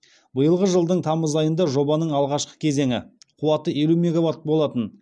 биылғы жылдың тамыз айында жобаның алғашқы кезеңі қуаты елу мегаватт болатын